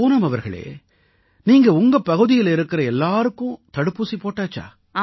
பூனம் அவர்களே நீங்க உங்க பகுதியில இருக்கற எல்லாருக்கும் தடுப்பூசி போட்டாச்சா